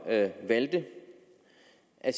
at